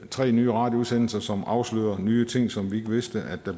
tre nye radioudsendelser som afslører nye ting som vi ikke vidste